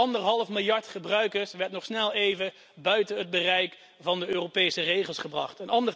Anderhalf miljard gebruikers werd nog snel even buiten het bereik van de Europese regels gebracht.